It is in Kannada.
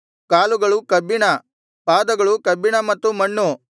ಕಾಲುಗಳು ಕಬ್ಬಿಣ ಪಾದಗಳು ಕಬ್ಬಿಣ ಮತ್ತು ಮಣ್ಣು